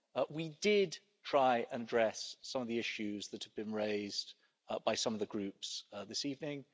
We did try and address some of the issues that have been raised by some of the Groups this evening.